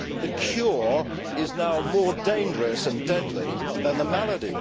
The cure is now more dangerous and deadly than the malady.